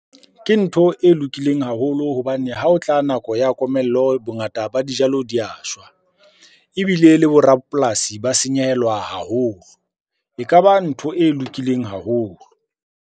Ke ntho e lokileng haholo hobane ha o tla nako ya komello. Bongata ba dijalo di ya shwa, ebile le bo rapolasi ba senyehelwa haholo. Ekaba ntho e lokileng haholo.